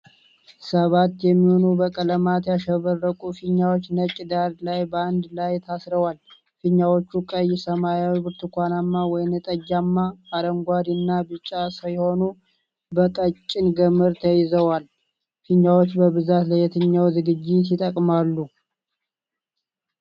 ሰባት የሚሆኑ በቀለማት ያሸበረቁ ፊኛዎች ነጭ ዳራ ላይ በአንድ ላይ ታስረዋል። ፊኛዎቹ ቀይ፣ ሰማያዊ፣ ብርቱካናማ፣ ወይንጠጃማ፣ አረንጓዴ እና ቢጫ ሲሆኑ በቀጭን ገመድ ተይዘዋል። ፊኛዎች በብዛት ለየትኛው ዝግጅት ይጠቅማሉ?